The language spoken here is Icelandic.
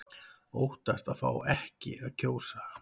Óttast að fá ekki að kjósa